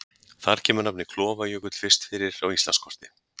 Þar kemur nafnið Klofajökull fyrst fyrir á Íslandskorti.